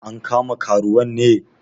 An kama karuwan ne?